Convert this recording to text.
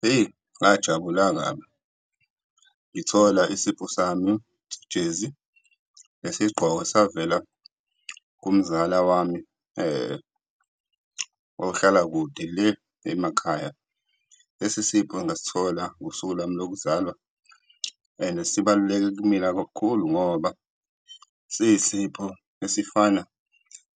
Hheyi, ngajabula kabi ngithola isipho sami ijezi nesigqoko esavela kumzala wami ohlala kude le emakhaya. Lesi sipho ngasithola ngosuku lwami lokuzalwa and sibaluleke kimina kakhulu ngoba siyisipho esifana